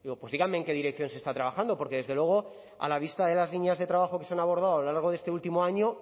pues díganme en qué dirección se está trabajando porque desde luego a la vista de las líneas de trabajo que se han abordado a lo largo de este último año